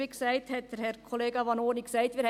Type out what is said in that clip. Übrigens, wie Kollege Vanoni gesagt hat: